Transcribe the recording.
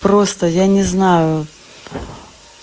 просто я не знаю